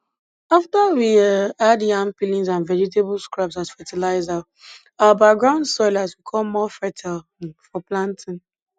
after we um add yam peelings and vegetable scraps as fertilizer our backyard soil has become more fertile um for planting